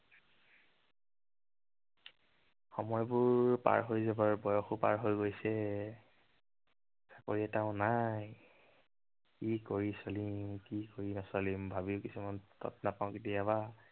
সময়বোৰ পাৰ হৈ যাবৰ, বয়সো পাৰ হৈ গৈছে। চাকৰি এটাও নাই। কি কৰি চলিম, কি কৰি নচলিম, ভাবি কিছুমান তত নাপাও কেতিয়াবা।